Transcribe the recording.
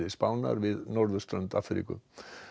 Spánar við norðurströnd Afríku